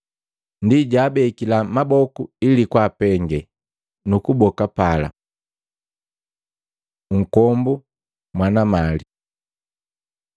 Ndi jwaabekila maboku ili kwaapenge, nu kuboka pala. Nkombu mwana mali Maluko 10:17-31; Luka 18:18-30